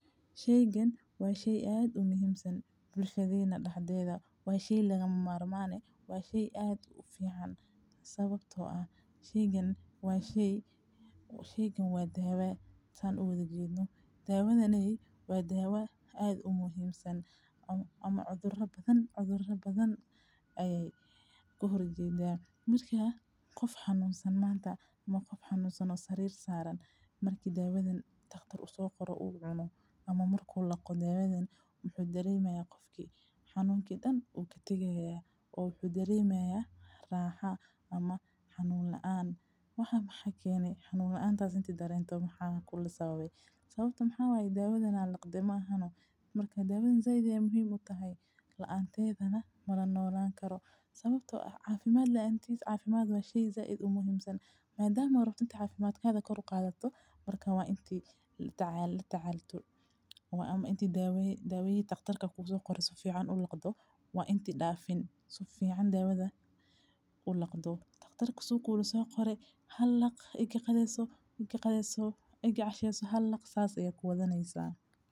Shaygan waa shay aad u muhiimsan bulshadeena dhaxdeeda, waa shay lagama maarmaane. Waa shay aad u fiican sababtoo ah shaygan waa shay, shayga waa daawey san udajeeysno. Daawadenay waa daawa aad u muhiimsan ama cudur badan, cudur badan ay ku horjeedeen. Markaa qof xanuunsan maanta, marka qof xanuunsan sarir saaran. Markii daawaden takhtar uu soo koro uu cuno ama marku laqo daawaden, waxa ku dareemaa qofki. Xanuunki dhan uu ka tegaa oo wuxuu darimaya raaxo ama xanuun la'aan. Waxaan maxkeeney xanuun la'aan taas intuu dareento maxaa kula sababay. Sababta maxaa daawaden aan laqdemaa hanoo? Markaa daawaden zayd ee muhiim u tahay la'aantedana mara noolaan karo sababtoo ah caafimaad la'eentiis. Caafimaad waa shay zaah id u muhiimsan. Maadaama rabtida caafimaadkaada kordh qaadataa, markaa intuu la taalla la taallato ama intii daaway daawayii takhtarka ku gu soqore soo fiican ulaqdo waa intii dhaafin soo fiican daawada ulaqdo. Takhtar kugu yraha soo korey, hadlaq igi qadeeso, igi qadeesoo, igi cashayso had laq saas ayey ku wadanaysaa.